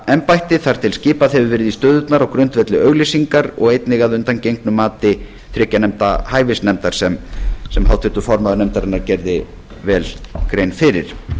embætti þar til skipað hefur verið í stöðurnar á grundvelli auglýsingar og einnig að undangengnu mati þriggja manna hæfisnefndar sem háttvirtur formaður nefndarinnar gerði vel grein fyrir